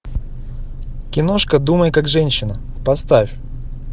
киношка думай как женщина поставь